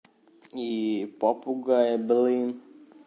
и попугая